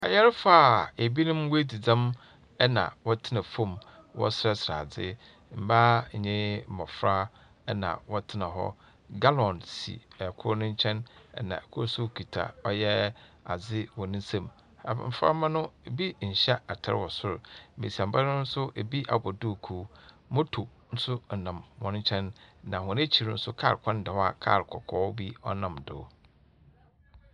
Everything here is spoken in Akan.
Ayarfo aa ebi nom wadzi dzɛm ɛna wɔtsena fom wɔ serɛ serɛ adze. Mbaa nye mbɔfra ɛna wɔtsena hɔ. Galɔn si ɛkor ne nkyɛn ɛna ɛkor so kita ɔyɛ adze wɔ ne sam. Mbɔframba no ebi nhyɛ atare wɔ sor, mbesianba no so ebi abɔ duukuw. Moto so ɔnam wɔn nkyɛn na wɔn akyir nso kaar kwan da hɔ aa kaar kɔkɔɔ bo ɔnam do.